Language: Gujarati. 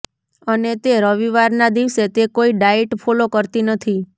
અને તે રવિવારના દિવસે તે કોઈ ડાયટ ફોલો કરતી નથી